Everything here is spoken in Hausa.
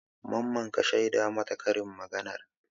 Mamman ka shaida mata karin maganar?